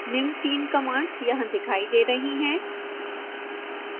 निम्न तीन कमांड्स यहां दिखाई दे रही हैं